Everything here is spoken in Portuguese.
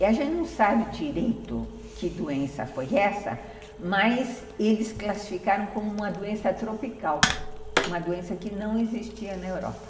E a gente não sabe direito que doença foi essa, mas eles classificaram como uma doença tropical, uma doença que não existia na Europa.